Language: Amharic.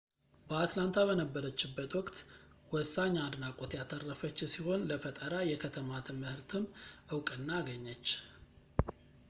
በአትላንታ በነበረችበት ወቅት ወሳኝ አድናቆት ያተረፈች ሲሆን ለፈጠራ የከተማ ትምህርትም እውቅና አገኘች